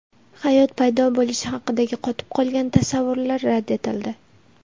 Hayot paydo bo‘lishi haqidagi qotib qolgan tasavvurlar rad etildi.